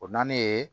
O naani ye